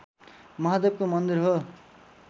महादेवको मन्दिर हो